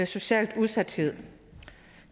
socialt udsathed og